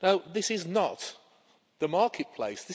This is not the marketplace.